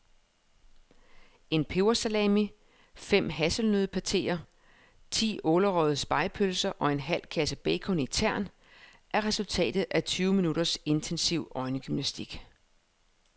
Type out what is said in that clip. En pebersalami, fem hasselnøddepateer, ti ålerøgede spegepølser og en halv kasse bacon i tern er resultatet af tyve minutters intensiv øjengymnastik.